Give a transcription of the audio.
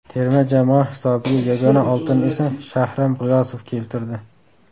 Terma jamoa hisobiga yagona oltinni esa Shahram G‘iyosov keltirdi.